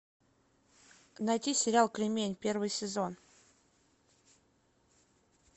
найти сериал кремень первый сезон